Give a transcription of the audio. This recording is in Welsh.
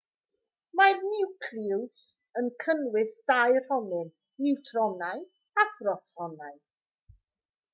mae'r niwclews yn cynnwys dau ronyn niwtronau a phrotonau